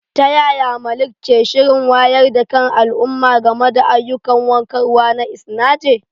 Ta yaya Malik ke shirin wayar da kan al'umma game da ayyukan warkarwa na Isanaje?